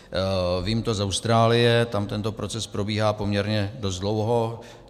Vím to z Austrálie, tam tento proces probíhá poměrně dost dlouho.